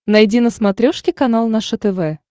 найди на смотрешке канал наше тв